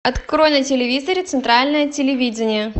открой на телевизоре центральное телевидение